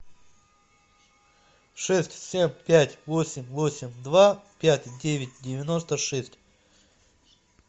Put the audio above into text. шесть семь пять восемь восемь два пять девять девяносто шесть